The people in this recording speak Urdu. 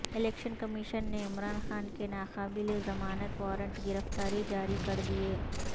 الیکشن کمیشن نے عمران خان کے ناقابل ضمانت وارنٹ گرفتاری جاری کر دیے